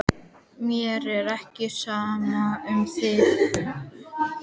Mér er ekki sama um þig.